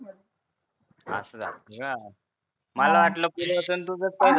असं झालत का मला वाटलं पूर्वाच अन तुझंच काही